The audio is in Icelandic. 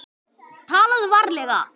TALAÐU VARLEGA